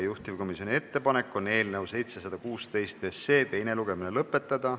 Juhtivkomisjoni ettepanek on eelnõu 716 teine lugemine lõpetada.